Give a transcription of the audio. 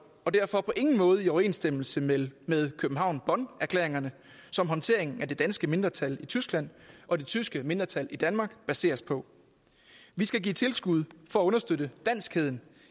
og derfor på ingen måde i overensstemmelse med med københavn bonn erklæringerne som håndteringen af det danske mindretal i tyskland og det tyske mindretal i danmark baseres på vi skal give tilskud for at understøtte danskheden